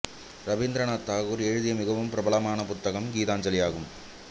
ரவீந்திரநாத் தாகூர் எழுதிய மிகவும் பிரபலமான புத்தகம் கீதாஞ்சலி ஆகும்